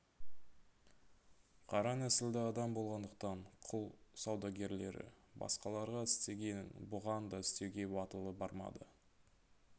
қара нәсілді адам болғандықтан құл саудагерлері басқаларға істегенін бұған да істеуге батылы бармады